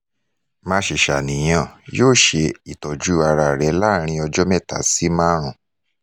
má ṣe ṣàníyàn yoo ṣe itọju ara rẹ laarin ọjọ meta si marun